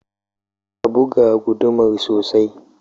Ka buga gudumar sosai